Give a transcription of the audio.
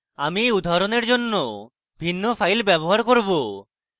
আমি এই উদাহরণের জন্য ভিন্ন file ব্যবহার করব